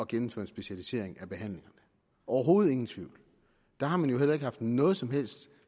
gennemføre en specialisering af behandlingerne overhovedet ingen tvivl der har man jo heller ikke haft noget som helst